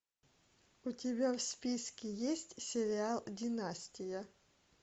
у тебя в списке есть сериал династия